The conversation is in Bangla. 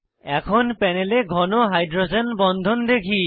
এখন প্যানেলে ঘন হাইড্রোজেন বন্ধন দেখি